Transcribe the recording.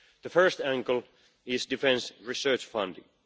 The first angle is defence research funding.